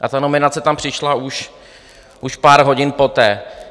A ta nominace tam přišla už pár hodin poté.